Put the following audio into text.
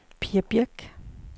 Pia Birch